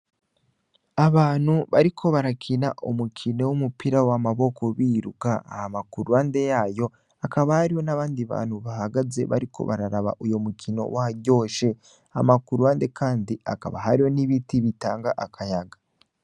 Abantu bariko barakina umukino w'umupira w'amaboko biruka hama kuruhande yayo akaba hariyo n'abandi bantu bahagaze bariko bararaba uyo mukino waryoshe, hama kuruhande kandi hakaba hariho n'ibiti bitanga akayaga.